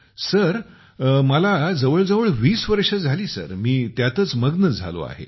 गौरव मला आता जवळ जवळ २० वर्ष झाले सर मी त्यातच मग्न झालो आहे